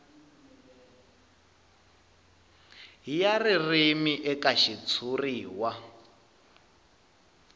ya ririmi eka xitshuriwa i